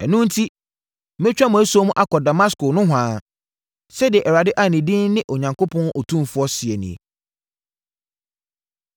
Ɛno enti, mɛtwa mo asuo akɔ Damasko nohoa,” sɛdeɛ Awurade a ne din ne Onyankopɔn Otumfoɔ seɛ nie.